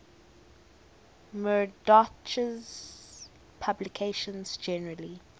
murdoch's publications generally